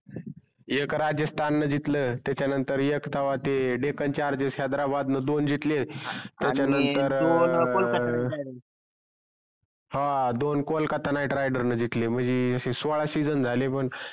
एक राजस्थान न जितल त्याच्या नंतर एक तव्हा ते डेकण चार दिवश हेदारबादन दोन जितले आणि त्याच्या नंतर दोन कोलकाता जिकले कोलकाता knight rider न जितले म्हणजे असे सोडा season झाले बग